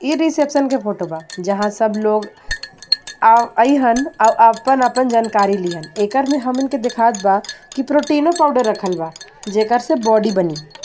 इ रिसेप्शन के फोटो बा जहां सब लोग अहीन आपन -आपन जानकारी लिहन एकर में हमन के दिखात बा प्रोटीनों पाउडर जेकर से बॉडी बनी .